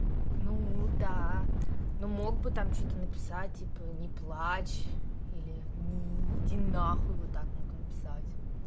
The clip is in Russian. ну да но мог бы там что-то написать типа не плачь или ни иди на хуй вот так мог написать